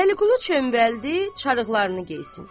Vəliqulu cönbəldi çarıqlarını geyinsin.